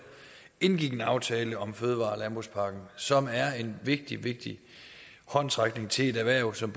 indgik en aftale om fødevare og landbrugspakken som er en vigtig vigtig håndsrækning til et erhverv som